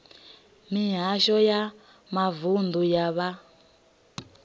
mihasho ya mavunḓu ya vha